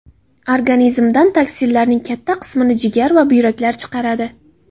Organizmdan toksinlarning katta qismini jigar va buyraklar chiqaradi.